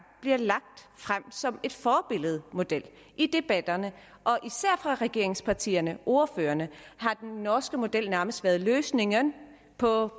bliver lagt frem som et forbillede på model i debatterne og især fra regeringspartierne ordførerne har den norske model nærmest været løsningen på